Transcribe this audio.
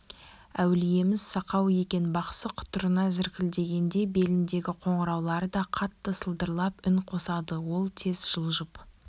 әулиеміз сақау екен бақсы құтырына зіркілдегенде беліндегі қоңыраулары да қатты сылдырлап үн қосады ол тез жылжып